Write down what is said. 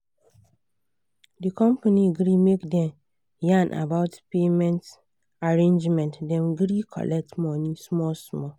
the company gree make dem yan about payment arrangement dem gree colet money small small